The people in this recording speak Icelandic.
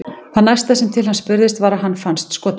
Það næsta sem til hans spurðist var að hann fannst skotinn.